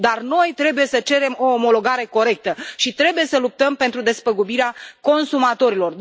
Dar noi trebuie să cerem o omologare corectă și trebuie să luptăm pentru despăgubirea consumatorilor.